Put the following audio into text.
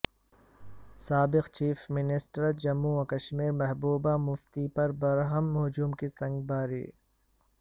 سابق chief minister Jammu و کشمیر محبوبہ مفتی پر برہم ہجوم کی سنگباری